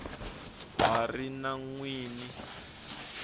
ha ri na n wini